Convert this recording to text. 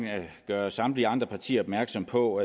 gøre samtlige andre partier opmærksom på